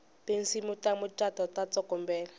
tinsimu ta mucato ta tsokombela